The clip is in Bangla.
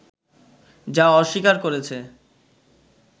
যা অস্বীকার করেছে